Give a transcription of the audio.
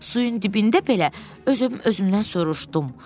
Suyun dibində belə öz-özümdən soruşdum.